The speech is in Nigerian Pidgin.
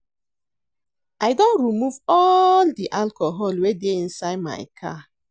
I don remove all the alcohol wey dey inside my car